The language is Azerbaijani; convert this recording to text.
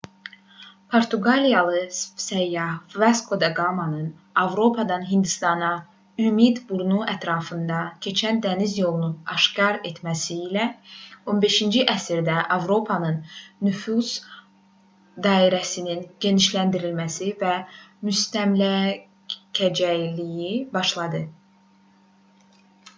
portuqaliyalı səyyah vasko da qamanın avropadan hindistana ümid burnu ətrafından keçən dəniz yolunu aşkar etməsi ilə 15-ci əsrdə avropanın nüfuz dairəsinin genişləndirilməsi və müstəmləkəçiliyi başladı